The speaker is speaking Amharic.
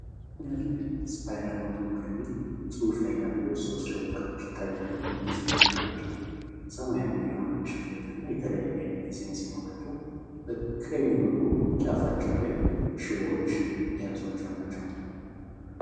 ሲነርላይን ስፓይራል ኖት ቡክ የሚል ፅሁፍ ያላቸው ሶስት ደብተሮች ይታያሉ። እነዚህ ደብተሮች ሰማያዊ የሆነ መሸፈኛ የተለያየ አይነት ዲዛይን ሲኖራቸው በቀኝ በኩል ጫፋቸው ላይ ሽቦዎች የያዟቸው ናቸው።